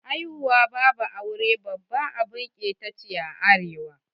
Haihuwa babu aure babbar abun ƙeta ne a arewa.